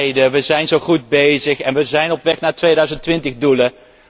Wij leiden, wij zijn zo goed bezig, wij zijn op weg naar de 2020 doelen.